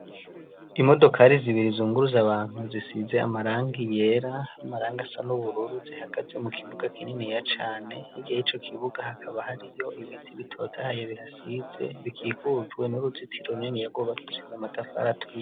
Imodokari zibiri izunguru zabantu zisize amaranga iyera .Amaranga asa nubururu zihagaze mu kibuga kinini ya cane igihe ico kibuga hakaba hari yo ibiti bitotahaye bihasize bikihujwe n'uruzitiro nini ya gobakishije amatafara aturiye.